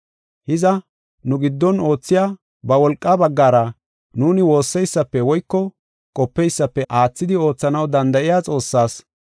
Hiza, nu giddon oothiya ba wolqaa baggara nuuni woosseysafe woyko qopeysafe aathidi oothanaw danda7iya Xoossaas,